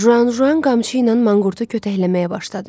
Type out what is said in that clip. Juanjuan qamçı ilə manqurtu kötəkləməyə başladı.